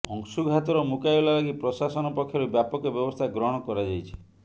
ଅଂଶୁଘାତର ମୁକାବିଲା ଲାଗି ପ୍ରଶାସନ ପକ୍ଷରୁ ବ୍ୟାପକ ବ୍ୟବସ୍ଥା ଗ୍ରହଣ କରାଯାଇଛି